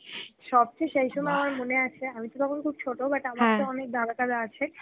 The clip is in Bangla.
সবচে সেই সময় আমার মনে আছে আমি তো তখন খুব ছোটো but দাদা টাদা আছে